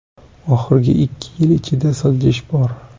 Oxirgi ikki yil ichida siljish bor.